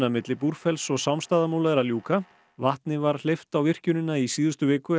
milli Búrfells og Sámsstaðamúla er að ljúka vatni var hleypt á virkjunina í síðustu viku